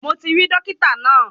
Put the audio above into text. Mo ti rí dọ́kítà náà.